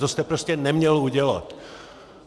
To jste prostě neměl udělat.